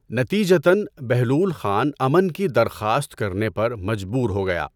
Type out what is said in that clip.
نتیجتاََ، بہلول خان امن کی درخواست کرنے پر مجبور ہو گیا۔